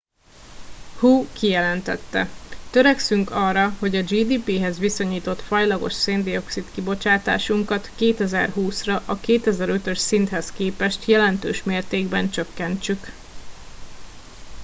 hu kijelentette törekszünk arra hogy a gdp hez viszonyított fajlagos széndioxid kibocsátásunkat 2020 ra a 2005 ös szinthez képest jelentős mértékben csökkentsük